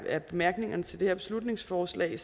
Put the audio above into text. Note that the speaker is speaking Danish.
af bemærkningerne til det her beslutningsforslag